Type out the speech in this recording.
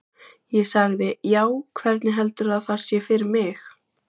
Ég sagði: Já, hvernig heldurðu að það sé fyrir mig?